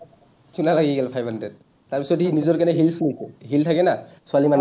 chuna লাগি গ’ল five hundred । তাৰপিছত সি নিজৰ কাৰণে hills লৈছে। hill থাকে না ছোৱালী মানুহবিলাকৰ,